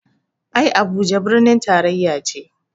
Ai Abuja birnin taraya ce